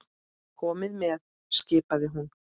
Komiði með! skipaði hún.